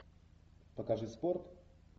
покажи спорт